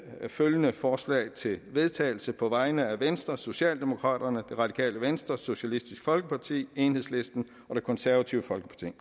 følgende forslag til vedtagelse på vegne af venstre socialdemokraterne det radikale venstre socialistisk folkeparti enhedslisten og det konservative folkeparti